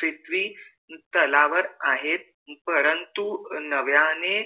पृथ्वी तलावर आहेत परंतु नव्याने